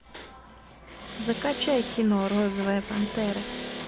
закачай кино розовая пантера